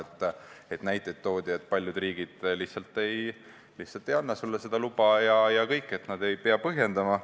Toodi näiteid, et paljud riigid lihtsalt ei anna sulle seda luba ja kõik, nad ei pea põhjendama.